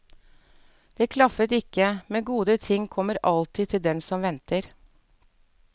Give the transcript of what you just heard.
Det klaffet ikke, men gode ting kommer alltid til den som venter.